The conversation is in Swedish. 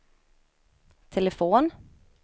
telefon